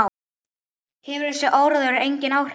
Hefur þessi áróður engin áhrif?